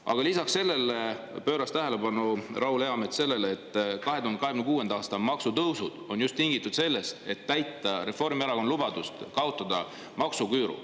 Aga lisaks sellele juhtis Raul Eamets tähelepanu sellele, et 2026. aasta maksutõusud on tingitud just sellest, et täita Reformierakonna lubadust kaotada maksuküür.